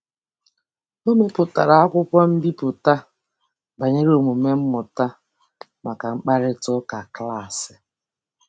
O mepụtara akwụkwọ mbipụta banyere omume mmụta maka mkparịtaụka klaasị.